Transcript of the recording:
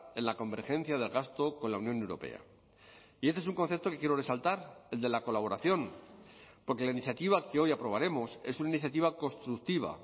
en la convergencia del gasto con la unión europea y este es un concepto que quiero resaltar el de la colaboración porque la iniciativa que hoy aprobaremos es una iniciativa constructiva